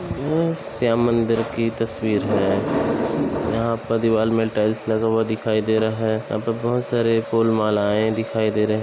श्याम मंदिर की तस्वीर हैयहां पर दीवाल में टाइल्स लगवा दिखाई दे रहा है यहां पे बहुत सारे फूल मालाएं दिखाए--